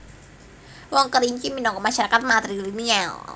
Wong Kerinci minangka masarakat matrilineal